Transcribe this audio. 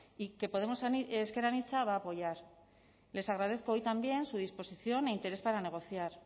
y que podemos ezker anitza va a apoyar les agradezco hoy también su disposición e interés para negociar